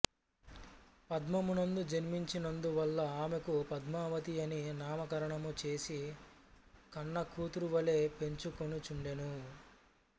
పద్మము నందు జన్మించినందువల్ల ఆమెకు పద్మావతి అని నామకరణము చేసి కన్నకూతురు వలె పెంచుకొనుచుండెను